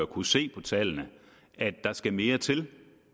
kunne se på tallene at der skal mere til at